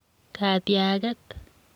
katiaget.